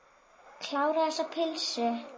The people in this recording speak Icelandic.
Kláraðu þessa pylsu.